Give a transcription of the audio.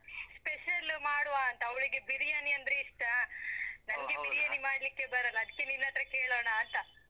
Special ಮಾಡುವ ಅಂತ, ಅವ್ಳಿಗೆ ಬಿರಿಯಾನಿ ಅಂದ್ರೆ ಇಷ್ಟ. ಮಾಡ್ಲಿಕ್ಕೆ ಬರಲ್ಲ, ಅದ್ಕೆ ನಿನ್ನತ್ರ ಕೇಳೋಣ ಅಂತ?